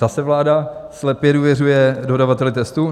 Zase vláda slepě důvěřuje dodavateli testu?